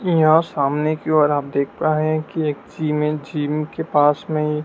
यहां सामने की ओर आप देख पा रहे हैं कि एक जिम है जिम के पास में हि--